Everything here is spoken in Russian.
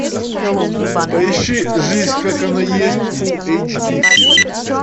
поищи жизнь как она есть фул эйч ди